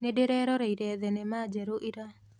Nĩndĩreroreire thenema njerũ ira.